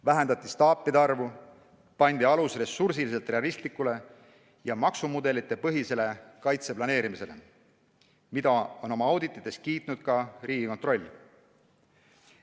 Vähendati staapide arvu, pandi alus ressursiliselt realistlikule ja maksumudelitel põhinevale kaitse planeerimisele, mida on oma auditites kiitnud ka Riigikontroll.